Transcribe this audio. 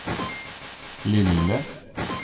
lille